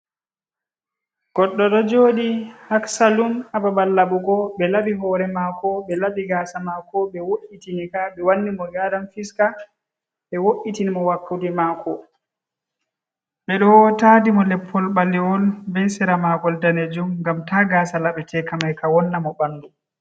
Goɗɗo ɗo jooɗii haa saalun ,haa babal laɓugo, ɓe laɓi hoore maako, ɓe laɓi gaasa maako, ɓe wo’itini ka ɓe wanni mo geeran fiska, ɓe wo’itini mo wakkude maako, ɓe ɗo taadi mo leppol ɓaleewol, be seera maagol daneejum ,ngam ta gaasa laɓeteeka may ,ka wonna mo ɓanndu.